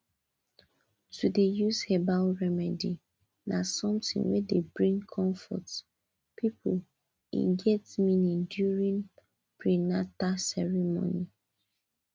to dey use herbal remedy na something wey dey bring comfort people e get meaning during prenata ceremonies